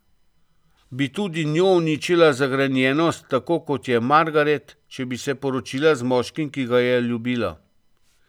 Bi tudi njo uničila zagrenjenost, tako kot je Margaret, če bi se poročila z moškim, ki ga je ljubila?